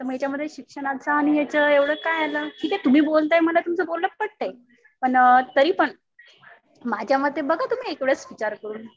तर मग याच्यामध्ये शिक्षणाचं आणि याच एवढं काय आलं? ठीक आहे तुम्ही बोलताय. मला तुमचं बोलणं पटतंय. पण तरीपण माझ्या मते बघा तुम्ही एक वेळेस विचार करून.